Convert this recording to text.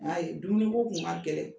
A yi Dumuni ko tun' kɛlɛ